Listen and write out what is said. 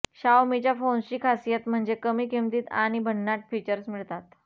शाओमीच्या फोन्सची खासियत म्हणजे कमी किंमतीत आणि भन्नाट फीचर्स मिळतात